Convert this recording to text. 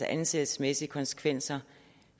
ansættelsesmæssige konsekvenser